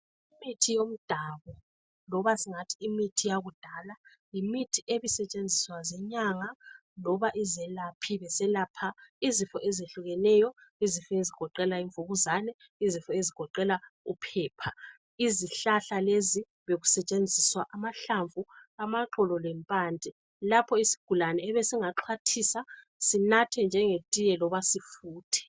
Imithi yomdabu loba singathi imithi yakudala, yimithi ebisetshenziswa zinyanga loba izelaphi beselapha izifo ezehlukeneyo, izifo ezigoqela imvukuzane izifo ezigoqela uphepha. Izihlahla lezi bekusetshenziswa amahlamvu, amaxolo lempande, lapho isigulane ebesingaxhwathisa sinathe njenge tiye loba sifuthe.